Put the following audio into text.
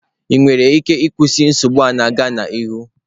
Ị nwere ike ịkwụsị nsogbu a na-aga n'ihu?